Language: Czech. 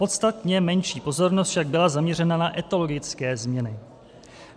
Podstatně menší pozornost však byla zaměřena na etologické změny.